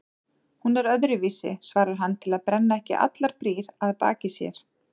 Hún er öðruvísi, svarar hann til að brenna ekki allar brýr að baki sér.